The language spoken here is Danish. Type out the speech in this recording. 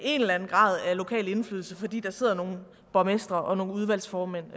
en eller anden grad af lokal indflydelse fordi der sidder nogle borgmestre og nogle udvalgsformænd